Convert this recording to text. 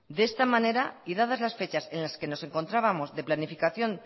de esta manera y dadas las fechas en la que nos encontrábamos de planificación